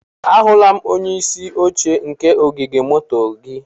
Ahụla m onye isi oche nke ogige moto gị.